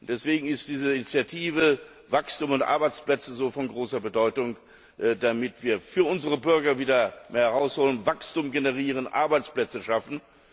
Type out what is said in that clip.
Deswegen ist diese Initiative Wachstum und Beschäftigung von so großer Bedeutung, damit wir für unsere Bürger wieder mehr herausholen, Wachstum generieren, Arbeitsplätze schaffen.